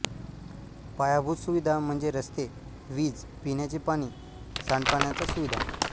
पायाभूत सुविधा म्हणजे रस्ते वीज पिण्याचे पाणी सांडपाण्याच्या सुविधा